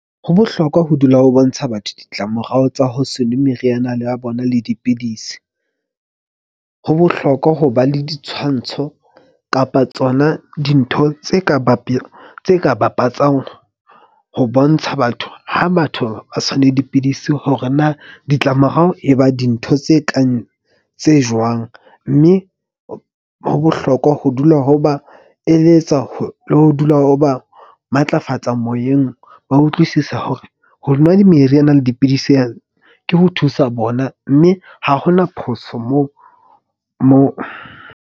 Ho bohlokwa ho dula o bontsha batho ditlamorao tsa ho se nwe meriana ya bona le dipidisi. Ho bohlokwa ho ba le ditshwantsho kapa tsona dintho tse ka tse ka bapatsang ho bontsha batho. Ha batho ba sa nwe dipidisi hore na ditlamorao e ba dintho tse kang tse jwang. Mme ho bohlokwa ho dula ho ba eletsa le ho dula ho ba matlafatsa moyeng. Ba utlwisisa hore ho nwa meriana le dipidisi ana ke ho thusa bona, mme ha hona phoso moo .